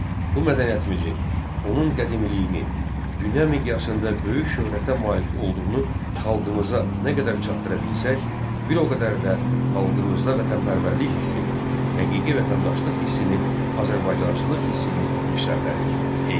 Bu mədəniyyətimizi, onun qədimliyini, dünya miqyasında böyük şöhrətə malik olduğunu xalqımıza nə qədər çatdıra bilsək, bir o qədər də xalqımızda vətənpərvərlik hissini, həqiqi vətəndaşlıq hissini, Azərbaycançılıq hissini yüksəldərik.